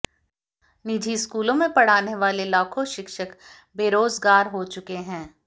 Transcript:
निजी स्कूलों में पढ़ाने वाले लाखों शिक्षक बेरोजगार हो चुके हैं